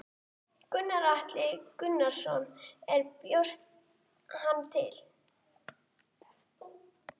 Gunnar Atli Gunnarsson: Og þú bjóst hann til?